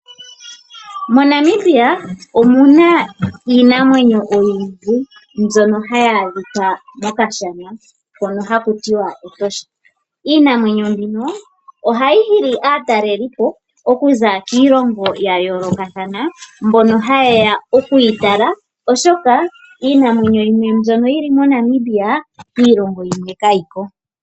Monamibia omuna iinamwenyo oyindji mbyono hayi adhika mokashana hono hakutiwa etosha. Iinamwenyo mbino ohayi hili aatalelipo okuza kiilongo ya yoolokathana mbono ha yeya oku yitala oshoka iinamwenyo yimwe mbyono yili mo Namibia kiilongo yimwe kayiko.